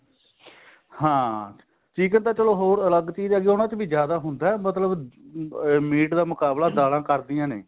ਹਾਂ chicken ਤਾਂ ਚਲੋ ਅਲੱਗ ਚੀਜ਼ ਹੈਗੀ ਉਹਨਾ ਚ ਵੀ ਜਿਆਦਾ ਹੁੰਦਾ ਮਤਲਬ ਮੀਟ ਦਾ ਮੁਕਬਲਾ ਦਾਲਾਂ ਕਰਦੀਆਂ ਨੇ